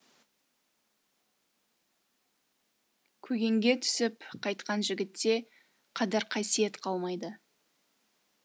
көгенге түсіп қайтқан жігітте қадір қасиет қалмайды